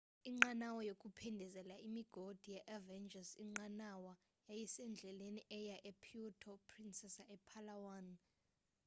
inqanawa yokuphindezela imigodi ye-avengers inqanawa yayisendleleni eya epuerto princesa epalawan